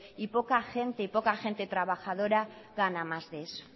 y poca gente trabajadora gana más de eso